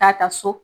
Taa ta so